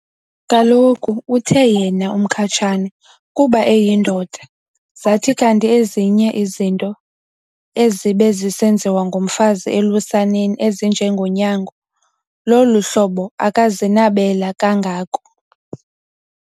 Kaloku uthe yena uMkhatshane kuba eyindoda zathi kanti ezinye izinto ezibe zisenziwa ngumfazi elusaneni ezinje ngonyango lolu hlobo akazinabela kangako.